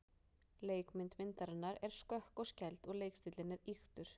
Leikmynd myndarinnar er skökk og skæld og leikstíllinn ýktur.